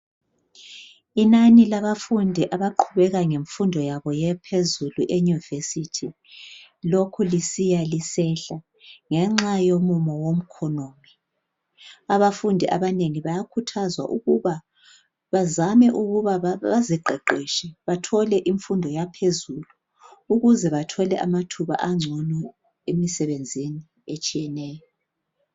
Inani labafundi abaqhubeka ngemfundo yabo e university lokhu lokhu lisiya lisehla ngenxa yomumo wonkhonomi abamfundi abanengi bayakhuthazwa ukuba bezame baziqeqeshe bathole imfundo yaphezulu ukuze bethole amathuba angcono awemisebenzi etshiyeneyo